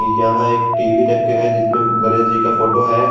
यहां एक टी_वी रखा है जिसमें गणेश जी का फोटो है।